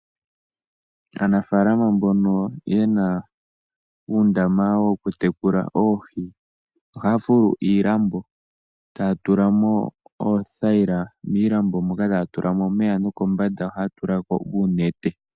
Aanafaalama mbono yena uundama woku tekula oohi , ohaya fulu iilambo taya tula mo oothayila miilambo moka taya tulamo omeya nokombanda ohaya tula ko uunete.